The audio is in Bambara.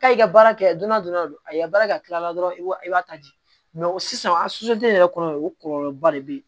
K'a i ka baara kɛ donna dɔrɔn a ye baara kɛ a tilala dɔrɔn i b'a i b'a ta di sisan a yɛrɛ kɔnɔ o kɔlɔlɔba de be yen